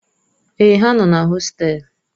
Èè, ha nọ na hostelu.